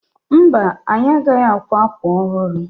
Mba, anyị agaghị akwa akwa ọhụrụ.